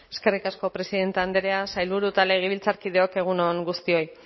eskerrik asko presidente andrea sailburu eta legebiltzarkideok egun on guztioi